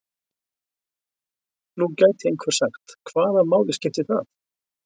Nú gæti einhver sagt: Hvaða máli skiptir það?